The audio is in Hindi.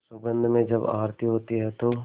सुगंध में जब आरती होती है तो